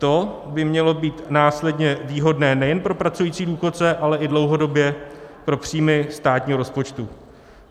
To by mělo být následně výhodné nejen pro pracující důchodce, ale i dlouhodobě pro příjmy státního rozpočtu.